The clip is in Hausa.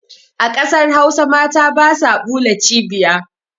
A ƙasar hausa mata basa ɓula cibiya